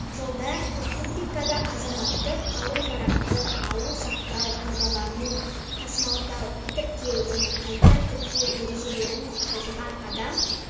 жылда республикада азаматтық қару-жарақты алу сақтау пайдалану тасымалдау тіркеу және қайта тіркеу ережелерін бұзған адам